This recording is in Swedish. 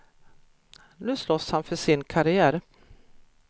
Nu slåss han för sin karriär.